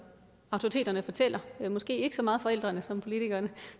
autoriteterne fortæller måske ikke så meget forældrene som politikerne